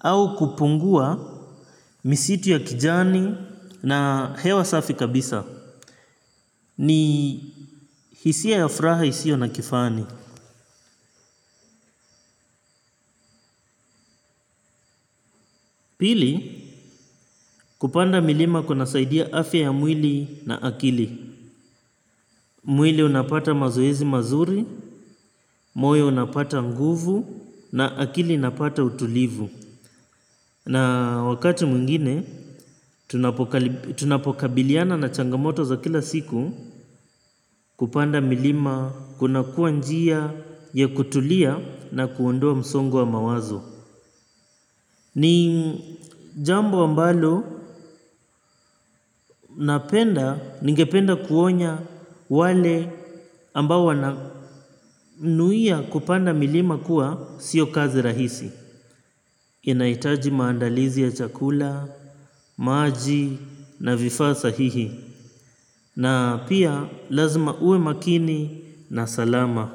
au kupungua misitu ya kijani na hewa safi kabisa. Ni hisia ya furaha isio na kifani. Pili kupanda milima kuna saidia afya ya mwili na akili. Mwili unapata mazoezi mazuri, moyo unapata nguvu na akili napata utulivu. Na wakati mwingine, tunapokabiliana na changamoto za kila siku kupanda milima kuna kuwa njia ya kutulia na kuondoa msongo wa mawazo. Ni jambo ambalo ningependa kuonya wale ambao wana nuia kupanda milima kuwa sio kazi rahisi. Inahitaji maandalizi ya chakula, maji na vifaa sahihi. Na pia lazima uwe makini na salama.